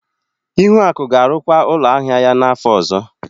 Ihuaku ga-arụkwa ụlọ ahịa ya n'afọ ọzọ.